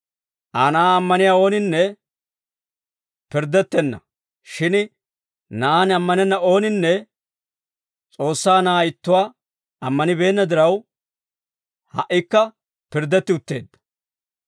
«Aa Na'aa ammaniyaa ooninne pirddettenna; shin Na'aan ammanenna ooninne, S'oossaa Na'aa ittuwaa ammanibeenna diraw, ha"ikka pirddetti utteedda.